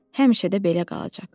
Həmişə də belə qalacaq.